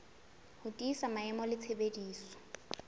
ho tiisa maemo le tshebediso